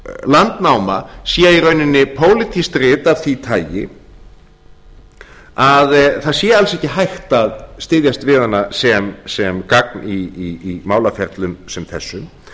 landnáma sé í rauninni pólitískt rit af því tagi að það sé alls ekki hægt að styðjast við hana sem gagn í málaferlum sem þessum